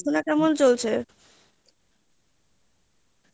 পড়াশুনা কেমন চলছে?